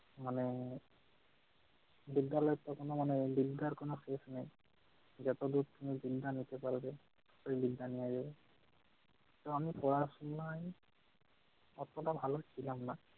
মানে বিদ্যালয় তখনও মানে বিদ্যার কোন শেষ নাই। যতদূর তুমি বিদ্যা নিতে পারবে ঐ বিদ্যা নিয়ে, তো আমি পড়াশোনায় অতটা ভালো ছিলাম না